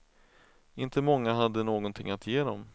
Inte många hade någonting att ge dem.